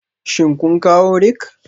Shin sun kawo rake?